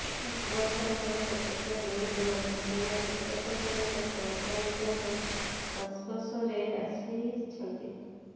ସମସ୍ତଙ୍କର କୋଲକତା ଲିଙ୍କ୍ ରହିଛି କିମ୍ବା କୋଲକତା ଫେରନ୍ତା ସଂକ୍ରମିତଙ୍କ ସଂସ୍ପର୍ଶରେ ଆସିଛନ୍ତି